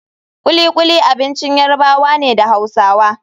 Kulikuli abincin Yarabawa ne da Hausawa.